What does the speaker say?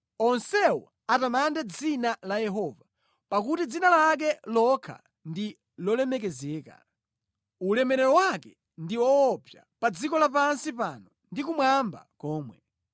Onsewo atamande dzina la Yehova pakuti dzina lake lokha ndi lolemekezeka; ulemerero wake ndi woopsa pa dziko lapansi pano ndi kumwamba komwe.